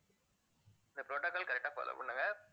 இந்த protocol correct ஆ follow பண்ணுங்க